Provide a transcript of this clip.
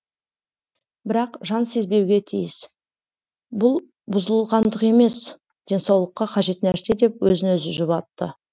бірақ жан сезбеуге тиіс бүл бұзылғандық емес денсаулыққа қажет нәрсе деп өзін өзі жұбатты